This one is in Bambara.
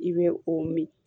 I bɛ o min